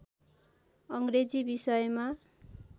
अ‌ग्रेजी विषयमा